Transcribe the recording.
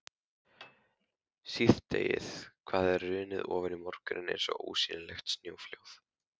Síðdegið hafði hrunið ofan í morguninn eins og ósýnilegt snjóflóð.